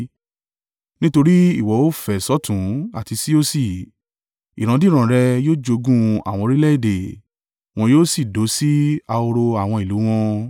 Nítorí ìwọ ó fẹ̀ sọ́tùn àti sí òsì; ìrandíran rẹ yóò jogún àwọn orílẹ̀-èdè, wọn yóò sì dó sí ahoro àwọn ìlú wọn.